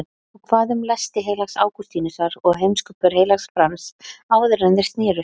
Og hvað um lesti heilags Ágústínusar og heimskupör heilags Frans áðuren þeir snerust?